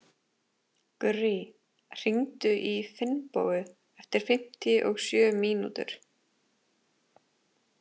Gurrí, hringdu í Finnbogu eftir fimmtíu og sjö mínútur.